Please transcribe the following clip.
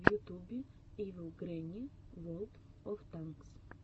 в ютубе ивил гренни ворлд оф танкс